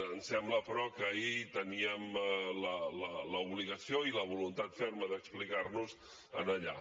ens sembla però que ahir teníem l’obligació i la voluntat ferma d’explicar nos allà